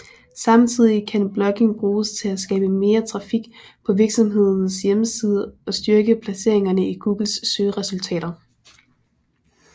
Samtidig kan blogging bruges til at skabe mere trafik på virksomhedens hjemmeside og styrke placeringerne i Googles søgeresultater